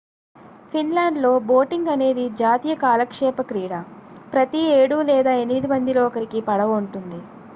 ఫిన్లాండ్లో బోటింగ్' అనేది జాతీయ కాలక్షేప క్రీడ ప్రతి 7 లేదా 8 మందిలో ఒకరికి పడవ ఉంటుంది